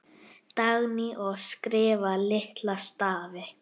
Dagný: Og skrifa litla stafi.